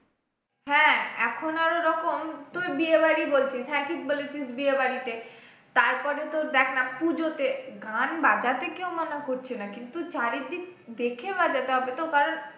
হ্যাঁ এখন আরও রকম তুই বিয়ে বাড়ি বলছিস হ্যাঁ ঠিক বলেছিস বিয়ে বাড়িতে তারপরে তোর দেখ না, পুজোতে গান বাজাতে কেউ মানা করছে না কিন্তু চারিদিক দেখে বাজাতে হবে তো কারণ